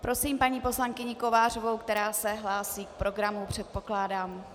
Prosím paní poslankyni Kovářovou, která se hlásí k programu, předpokládám.